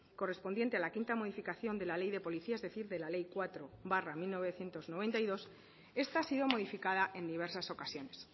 correspondiente a la quinta modificación de la ley de policías es decir de la ley cuatro barra mil novecientos noventa y dos esta ha sido modificada en diversas ocasiones